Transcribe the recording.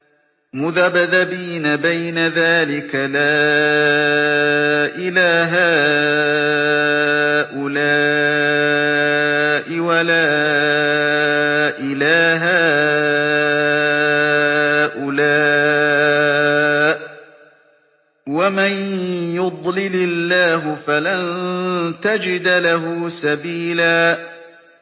مُّذَبْذَبِينَ بَيْنَ ذَٰلِكَ لَا إِلَىٰ هَٰؤُلَاءِ وَلَا إِلَىٰ هَٰؤُلَاءِ ۚ وَمَن يُضْلِلِ اللَّهُ فَلَن تَجِدَ لَهُ سَبِيلًا